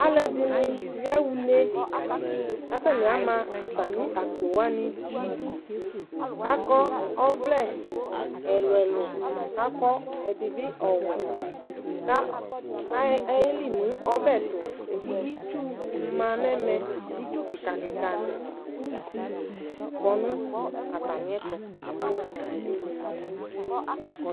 Alʋɛdɩnɩ yaɣa une kʋ atanɩ ama atamɩ akpo wanɩ nʋ idu kʋ akɔ ɔvlɛ ɛlʋ-ɛlʋ kʋ akɔ ɛdɩ bɩ ɔwɛ ka kʋ a ayeli nʋ ɔbɛ tʋ kʋ itsu ma nʋ ɛmɛ, itsu kɩka kɩka nʋ uzi kɔ nʋ atamɩɛtʋ